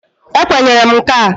E kwenyere m nka.